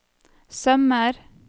sømmer